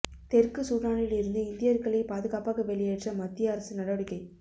தெற்கு சூடானில் இருந்து இந்தியர்களை பாதுகாப்பாக வெளியேற்ற மத்திய அரசு நடவடிக்கை